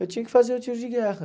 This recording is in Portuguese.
Eu tinha que fazer o tiro de guerra.